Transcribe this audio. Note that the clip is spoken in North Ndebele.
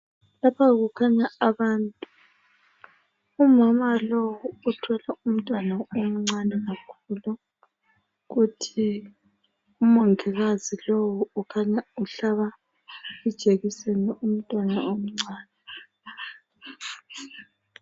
Lapha kukhanya abantu umama lowu uthwele umntwana omncane kakhulu kuthi umongikazi lowu ukhanya uhlaba ijekiseni umntwana omncane.